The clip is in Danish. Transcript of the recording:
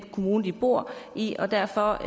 kommune de bor i og derfor